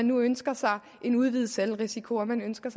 nu ønsker en udvidet selvrisiko og ønsker